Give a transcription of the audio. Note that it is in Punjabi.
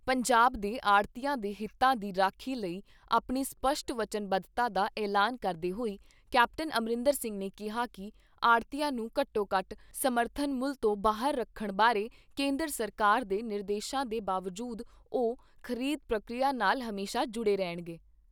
ਪੰਜਾਬ ਦੇ ਆੜ੍ਹਤੀਆਂ ਦੇ ਹਿੱਤਾਂ ਦੀ ਰਾਖੀ ਲਈ ਆਪਣੀ ਸਪੱਸ਼ਟ ਵਚਨਬੱਧਤਾ ਦਾ ਐਲਾਨ ਕਰਦੇ ਹੋਏ ਕੈਪਟਨ ਅਮਰਿੰਦਰ ਸਿੰਘ ਨੇ ਕਿਹਾ ਕਿ ਆੜ੍ਹਤੀਆਂ ਨੂੰ ਘੱਟੋ ਘੱਟ ਸਮਰਥਨ ਮੁੱਲ ਤੋਂ ਬਾਹਰ ਰੱਖਣ ਬਾਰੇ ਕੇਂਦਰ ਸਰਕਾਰ ਦੇ ਨਿਰਦੇਸ਼ਾਂ ਦੇ ਬਾਵਜੂਦ ਉਹ ਖ਼ਰੀਦ ਪ੍ਰਕਿਰਿਆ ਨਾਲ ਹਮੇਸ਼ਾ ਜੁੜੇ ਰਹਿਣਗੇ।